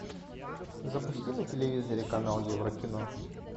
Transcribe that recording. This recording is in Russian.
запусти на телевизоре канал еврокино